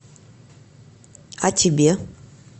а тебе